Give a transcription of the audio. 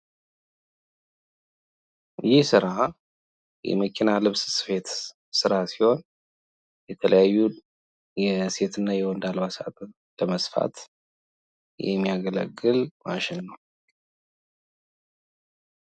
ይህ ስራ የመኪና ልብስ ስፌት ስራ ሲሆን ፤ የተለያዩ የወንድና የሴት አልባሳትን የሚሰፉበት ነው።